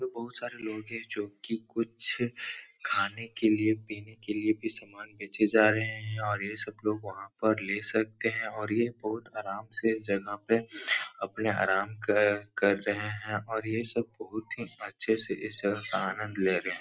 बहुत सारे लोग हैं जो कि कुछ खाने के लिए पीने के लिए भी सामान बेचे जा रहे हैं और ये सब लोग वहां पर ले सकते हैं और ये बोट आराम से जगह पे अपने आराम कर कर रहे हैं और ये सब बहुत ही अच्छे से इसका आनंद ले रहे हैं।